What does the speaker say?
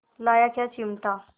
लाया क्या चिमटा